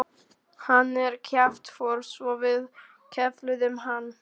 Hann er kjaftfor svo við kefluðum hann.